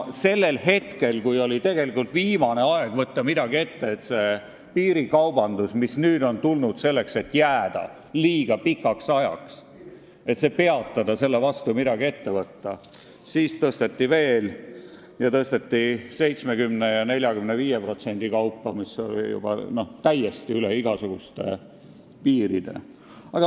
Sellel hetkel, kui oleks olnud viimane aeg midagi ette võtta, et see piirikaubandus, mis on tulnud selleks, et jääda, liiga pikaks ajaks jääda, peatada ja selle vastu midagi ette võtta, tõsteti veel ja tõsteti lausa 70% ja 45% kaupa, mis läks juba täiesti üle igasuguste piiride.